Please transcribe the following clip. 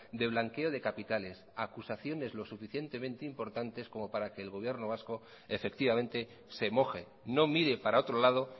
de blanqueo de capitales acusaciones lo suficientemente importantes como para que el gobierno vasco efectivamente se moje no mire para otro lado